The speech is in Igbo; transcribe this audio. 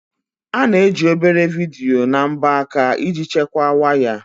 A na-eji obere vidiyo na mbọ aka iji chekwaa waya.